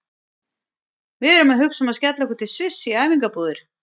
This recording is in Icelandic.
Við erum að hugsa um að skella okkur til Sviss í æfingabúðir.